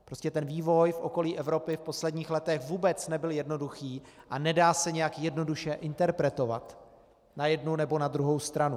Prostě ten vývoj v okolí Evropy v posledních letech vůbec nebyl jednoduchý a nedá se nějak jednoduše interpretovat na jednu nebo na druhou stranu.